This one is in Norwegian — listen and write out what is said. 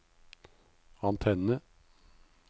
antenne